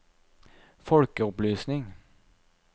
folkeopplysning